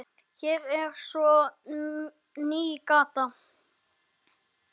Hér er svo ný gáta.